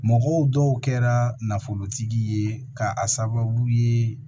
Mɔgɔw dɔw kɛra nafolotigi ye ka a sababu ye